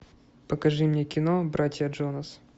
покажи мне кино братья джонас